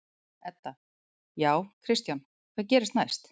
Edda: Já, Kristján, hvað gerist næst?